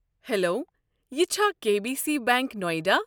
Hello, یہِ چھا K B C bank نایڈا؟